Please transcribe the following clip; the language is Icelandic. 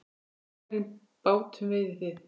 Á hvernig bátum veiðið þið?